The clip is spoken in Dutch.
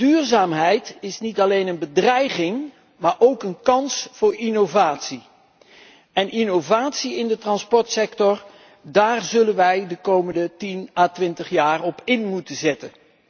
Duurzaamheid is niet alleen een bedreiging, maar ook een kans voor innovatie en innovatie in de transportsector, daarop zullen wij de komende 10 à 20 jaar moeten inzetten.